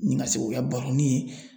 Nin ka se k'o kɛ baroni ye